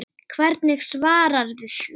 Hvernig svararðu því?